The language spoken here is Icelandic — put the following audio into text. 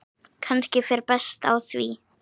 Kannski fer best á því.